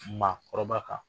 Ma kɔrɔba kan